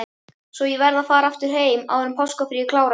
Svo verð ég að fara heim, áður en páskafríið klárast.